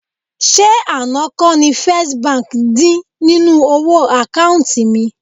Ṣé àná kọ́ ni First Bank dín nínú owó àkáùntì mi?